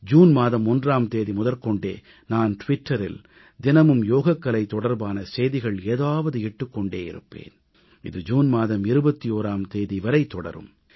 June மாதம் 1ஆம் தேதி முதற்கொண்டே நான் டுவிட்டரில் தினமும் யோகக்கலை தொடர்பான செய்திகள் ஏதாவது இட்டுக் கொண்டே இருப்பேன் இது ஜூன் மாதம் 21ஆம் தேதி வரை தொடரும்